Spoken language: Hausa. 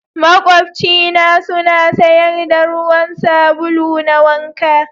Maƙwabci na suna sayar da ruwan sabulu na wanka.